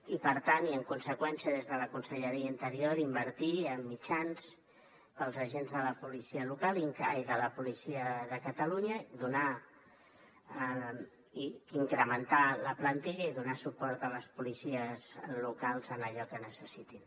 i per tant i en conseqüència des de la conselleria d’interior invertir en mitjans per als agents la policia de catalunya donar i incrementar la plantilla i donar suport a les policies locals en allò que necessitin